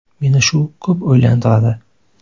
Meni shu ko‘p o‘ylantiradi.